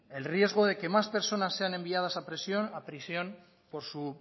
el riesgo de que más personas sean enviadas a prisión por su